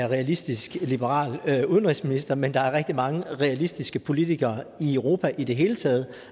realistisk liberal udenrigsminister men der er rigtig mange realistiske politikere i europa i det hele taget